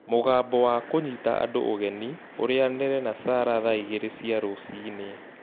Mũgambo wa kũnyita andũ ũgeni ũrĩanĩre na Sarah thaa igĩrĩ cia rũcinĩ